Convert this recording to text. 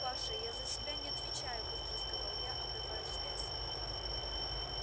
паша я за себя не отвечаю быстро сказал я обрывая связь